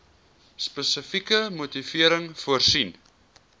spesifieke motivering voorsien